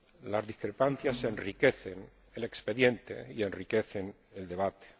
Las discrepancias enriquecen el expediente y enriquecen el debate.